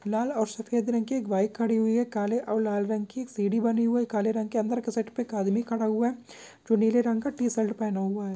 लाल और सफ़ेद रंग की बाइक खड़ी हुई है काले और लाल रंग की सीडी बनी हुई है काले रंग के सेट पे आदमी खड़ा हुआ है जो नीले रंग का टी शर्ट पहना हुआ हैं।